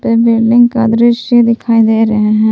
एक बिल्डिंग का दृश्य दिखाई दे रहे हैं।